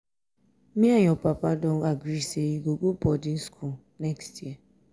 me and your papa don agree say you go go boarding school next year